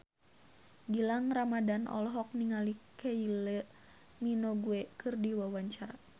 Gilang Ramadan olohok ningali Kylie Minogue keur diwawancara